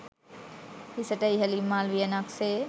හිසට ඉහළින් මල් වියනක් සේ